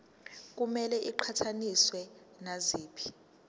kumele iqhathaniswe naziphi